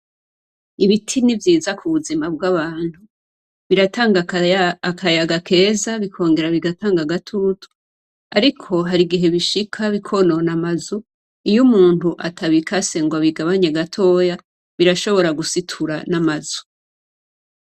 Ibiti ni vyiza kubuzina bw'abantu, biratanga akayaga keza bikongera bigatanga agatutu, ariko har'igihe bishika bikonona amazu, iyo umuntu atabikase ngo abigabanue gatoya birashobora no gusitura amazu.